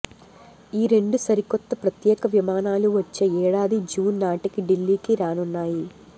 ఈ రెండు సరికొత్త ప్రత్యేక విమానాలు వచ్చే ఏడాది జూన్ నాటికి ఢిల్లీకి రానున్నాయి